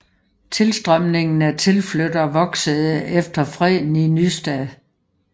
Tilstrømningen af tilflyttere voksede efter Freden i Nystad